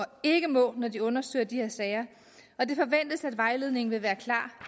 ikke må når de undersøger de her sager og det forventes at vejledningen vil være klar